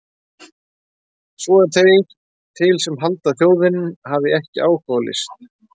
Svo eru þeir til sem halda að þjóðin hafi ekki áhuga á list!